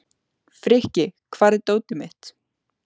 Frikki, hvar er dótið mitt?